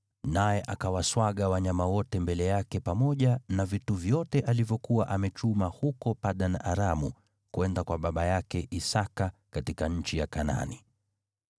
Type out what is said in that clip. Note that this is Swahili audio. naye akawaswaga wanyama wote mbele yake pamoja na vitu vyote alivyokuwa amechuma huko Padan-Aramu kwenda kwa baba yake Isaki katika nchi ya Kanaani.